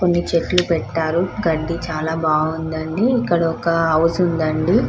కొన్ని చెట్లు పెట్టారు కడ్డీ చాలా బాగుందండి ఇక్కడ ఒక హౌస్ ఉందండి --